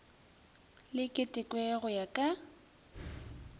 le ketekwe go ya ka